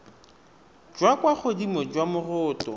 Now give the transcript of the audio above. jwa kwa godimo jwa moroto